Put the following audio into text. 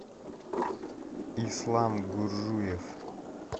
ислам гуржуев